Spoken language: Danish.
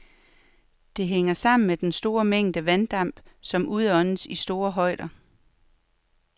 Det hænger sammen med den store mængde vanddamp, som udåndes i store højder.